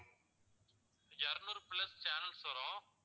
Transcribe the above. இருநூறு plus channels வரும்